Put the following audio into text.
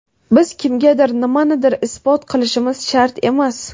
Biz kimgadir nimanidir isbot qilishimiz shart emas.